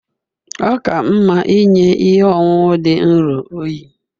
Ọ ka mma inye ihe ọṅụṅụ dị nro oyi